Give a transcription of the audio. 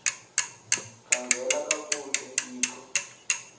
khangela kakuhle hixo